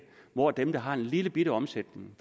hvor dem der har en lillebitte omsætning